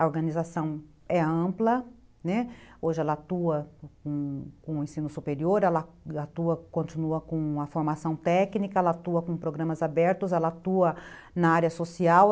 A organização é ampla, né, hoje ela atua com o ensino superior, ela atua, continua com a formação técnica, ela atua com programas abertos, ela atua na área social.